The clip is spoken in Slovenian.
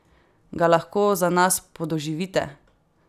Ga lahko za nas podoživite?